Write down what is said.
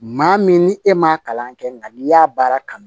Maa min ni e m'a kalan kɛ nka n'i y'a baara kanu